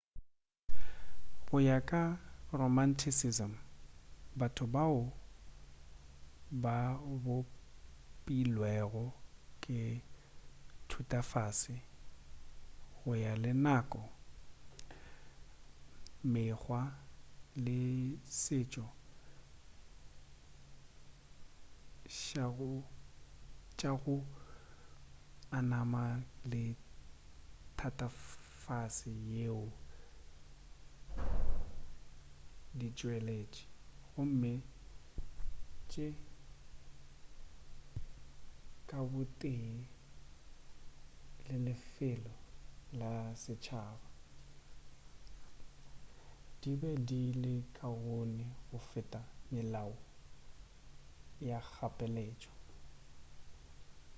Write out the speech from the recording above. go ya ka romanticism batho bao ba bopilwego ke thutafase go ya le nako mekgwa le setšo tša go amana le thatafase yeo di tšweletši gomme tše ka bo tee le lefelo la setšhaba di be di le kaone go feta melao ya kgapeletšo